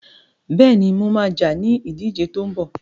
Bẹ́ẹ̀ni, mo ma jà ní ìdíje tó ń bọ̀